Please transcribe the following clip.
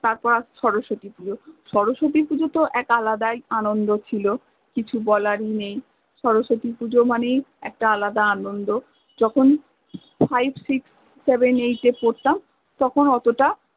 তারপর শরশতি পূজা, শরশতি পূজা তো এক আলাদাই আনন্দ ছিল কিছু বলার নেই শরশতি পূজা মানেই একটা আলাদা আনন্দ ছিল যখন fivesixseveneight এ পরতাম তখন অতটা